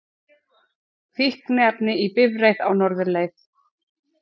Fíkniefni í bifreið á norðurleið